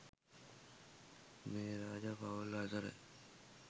මේ රජ පවුල් අතර